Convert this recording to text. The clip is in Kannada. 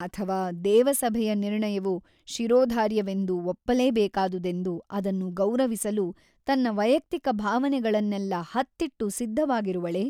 ಅಥವಾ ದೇವಸಭೆಯ ನಿರ್ಣಯವು ಶಿರೋಧಾರ್ಯವೆಂದು ಒಪ್ಪಲೇಬೇಕಾದುದೆಂದು ಅದನ್ನು ಗೌರವಿಸಲು ತನ್ನ ವೈಯಕ್ತಿಕ ಭಾವನೆಗಳನ್ನೆಲ್ಲ ಹತ್ತಿಟ್ಟು ಸಿದ್ಧವಾಗಿರುವಳೇ?